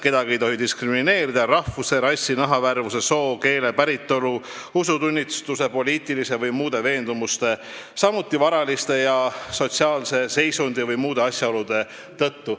Kedagi ei tohi diskrimineerida rahvuse, rassi, nahavärvuse, soo, keele, päritolu, usutunnistuse, poliitiliste või muude veendumuste, samuti varalise ja sotsiaalse seisundi või muude asjaolude tõttu.